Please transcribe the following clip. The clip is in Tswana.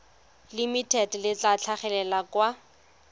limited le tla tlhagelela kwa